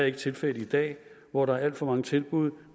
ikke tilfældet i dag hvor der er alt for mange tilbud